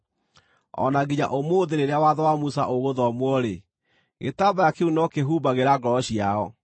O na nginya ũmũthĩ rĩrĩa watho wa Musa ũgũthomwo-rĩ, gĩtambaya kĩu no kĩhumbagĩra ngoro ciao.